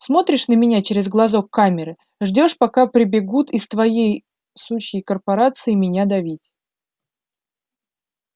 смотришь на меня через глазок камеры ждёшь пока прибегут из твоей сучьей корпорации меня давить